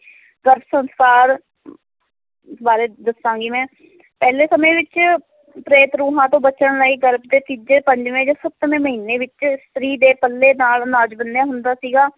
ਗਰਭ ਸੰਸਕਾਰ ਬਾਰੇ ਦੱਸਾਂਗੀ ਮੈਂ ਪਹਿਲੇ ਸਮੇਂ ਵਿੱਚ ਪ੍ਰੇਤ ਰੂਹਾਂ ਤੋਂ ਬਚਣ ਲਈ ਗਰਭ ਦੇ ਤੀਜੇ, ਪੰਜਵੇ ਜਾਂ ਸੱਤਵੇ ਮਹੀਨੇ ਵਿੱਚ ਇਸਤਰੀ ਦੇ ਪੱਲੇ ਨਾਲ ਅਨਾਜ ਬੰਨ੍ਹਿਆ ਹੁੰਦਾ ਸੀਗਾ